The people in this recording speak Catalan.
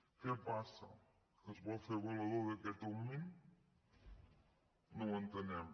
què passa que es vol fer valedor d’aquest augment no ho entenem